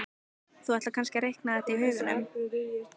Þú ætlar kannski að reikna þetta í huganum?